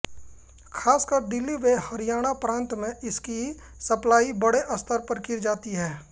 खासकर दिल्ली व हरियाणा प्रान्त में इसकी सप्लाई बडे स्तर पर की जाती है